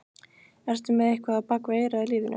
Ertu með eitthvað á bak við eyrað í lífinu?